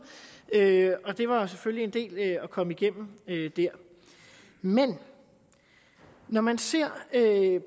og det var jo selvfølgelig en del at komme igennem men når man ser